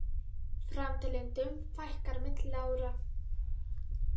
Framteljendum fækkar milli ára